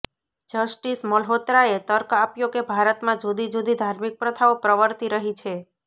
justice મલ્હોત્રાએ તર્ક આપ્યો કે ભારતમાં જુદી જુદી ધાર્મિક પ્રથાઓ પ્રવર્તી રહી છે